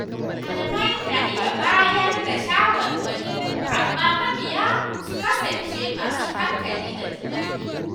Malamai na iya bayar da shawarwari amma mabiya su kasance masu hankali da tunani